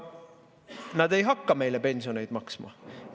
Nad ei hakka meile pensione maksma.